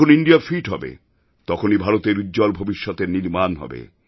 যখন India fit হবে তখনই ভারতের উজ্জ্বল ভবিষ্যতের নির্মাণ হবে